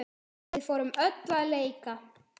Við fórum öll að leika.